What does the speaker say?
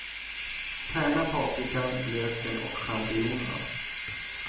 Tärna paprikan, löken och champinjonerna.